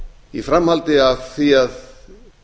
í framhaldi af því að